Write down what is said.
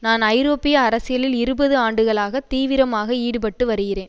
நான் ஐரோப்பிய அரசியலில் இருபது ஆண்டுகளாக தீவிரமாக ஈடுபட்டு வருகிறேன்